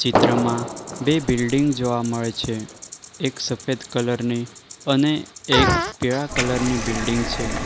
ત્રમાં બે બિલ્ડીંગ જોવા મળે છે એક સફેદ કલર ની અને એક પીળા કલર ની બિલ્ડીંગ છે.